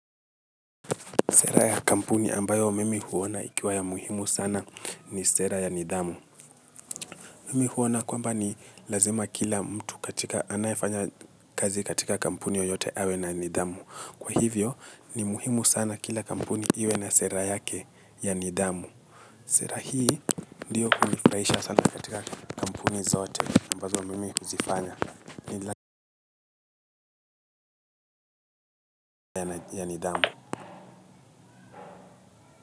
Sera ya kampuni ambayo mimi huona ikiwa ya muhimu sana ni sera ya nidhamu. Mimi huona kwamba ni lazima kila mtu katika anayefanya kazi katika kampuni yoyote awe na nidhamu. Kwa hivyo ni muhimu sana kila kampuni iwe na sera yake ya nidhamu. Sera hii ndiyo kunifurahisha sana katika kampuni zote ambazo mimi kuzifanya ni ya nidhamu.